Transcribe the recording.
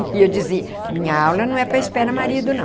E eu dizia, minha aula não é para espera marido, não.